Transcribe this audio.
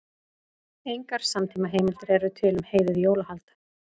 Engar samtímaheimildir eru til um heiðið jólahald.